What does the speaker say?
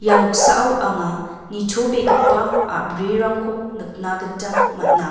ia noksao anga nitobegipa a·brirangko nikna gita man·a.